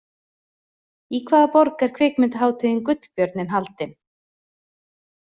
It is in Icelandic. Í hvaða borg er kvikmyndahátíðin Gullbjörninn haldin?